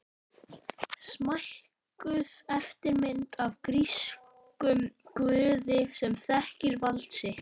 Smækkuð eftirmynd af grískum guði sem þekkir vald sitt.